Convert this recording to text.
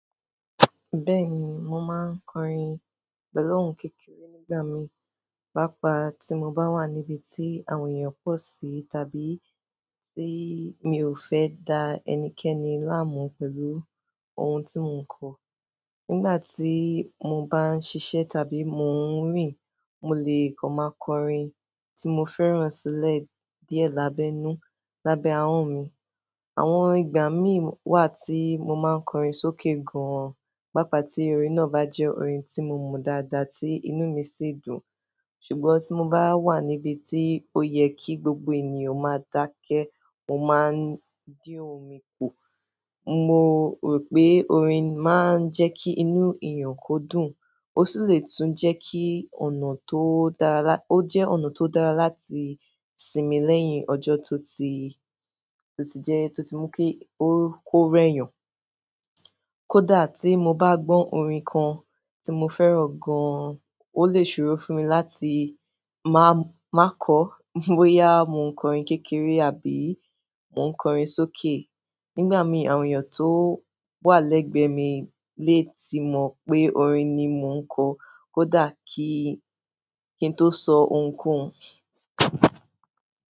Bẹ́ẹ̀ni, mo máa ń kọrin pẹ̀lú ohùn kékeré nígbà mì, pàápàá tí mo bá wà níbi tí àwọn èèyàn pọ̀ sí tàbí tí mi ò fẹ́ dá ẹnikẹ́ni láàmú pẹ̀lú ohun tí mo ń kọ. Nígbà tí mo bá ń ṣiṣẹ́ tàbí mo ń rìn, mo lè kọ máa kọ orin tí mo fẹ́ràn sílẹ̀ díẹ̀ lábẹ́ inú lábẹ́ ahọ́n mi. Àwọn ìgbà mì wà tí mo máa ń kọrin sókè gan-an, pàápàá tí orin náà bá jẹ́ orin tí mo mọ dáadáa tí inú mi sì dùn. Ṣùgbọ́n tí mo bá wà níbi tí ó yẹ kí gbogbo ènìyàn máa dákẹ́, mo máa ń dín ohùn mi pọ̀. Mo rò pé orin máa ń jẹ́ kí inú èèyàn kó dùn, ó sì lè tún jẹ́ kí ọ̀nà tó dára lá-- ó jẹ́ ọ̀nà tó dára láti sinmi lẹ́yìn ọjọ́ tó ti, tó ti jẹ́, tó ti mú kí ó kó rẹ́yàn. Kódà tí mo bá gbọ́ orin kan tí mo fẹ́ràn gan-an, ó lè ṣòro fún mi láti máa, máa kọ, bóyá mo ń kọrin kékeré àbí mo ń kọrin sókè. Nígbà mì, àwọn èèyàn tó wà lẹ́gbẹ̀ẹ́ mi lè ti mọ̀ pé orin ni mo ń kọ, kódà kí, kí n tó sọ ohùn kohun.